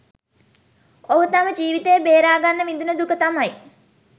ඔහු තම ජීවිතය බේරා ගන්න විඳින දුක තමයි